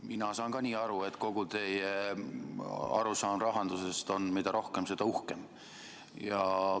Mina saan samuti nii aru, et kogu teie arusaam rahandusest on, et mida rohkem, seda uhkem.